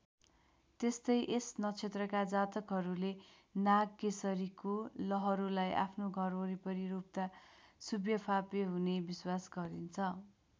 त्यस्तै यस नक्षत्रका जातकहरूले नागकेशरीको लहरोलाई आफ्नो घर वरिपरि रोप्दा शुभ्यफाप्य हुने विश्वास गरिन्छ।